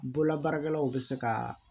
Bololabaarakɛlaw bɛ se ka